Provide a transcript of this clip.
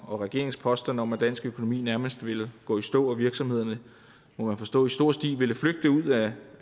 og regeringens påstand om at dansk økonomi nærmest ville gå i stå og virksomhederne må man forstå i stor stil ville flygte ud af